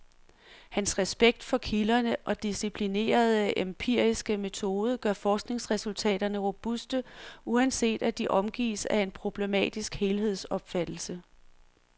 Hans respekt for kilderne og disciplinerede, empiriske metode gør forskningsresultaterne robuste, uanset at de omgives af en problematisk helhedsopfattelse.